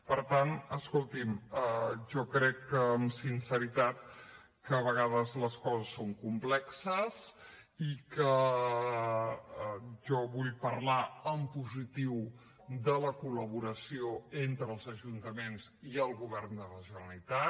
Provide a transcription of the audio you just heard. per tant escoltin jo crec que amb sinceritat a vegades les coses són complexes i que jo vull parlar en positiu de la col·laboració entre els ajuntaments i el govern de la generalitat